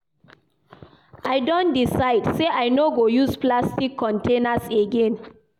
I don decide sey I no go use plastic containers again.